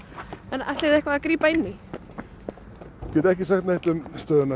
ætlið þið að grípa inní ég get ekkert sagt um stöðuna